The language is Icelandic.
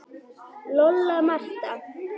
Lolla, Marta